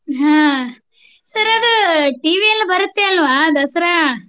ಹಾ Sir ಅದು TV ಯಲ್ ಬರುತ್ತೆ ಅಲ್ವಾ ದಸರಾ.